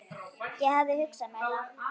Ég hafði hugsað mér það.